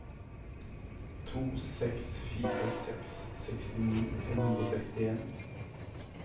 to seks fire seks sekstini fem hundre og sekstien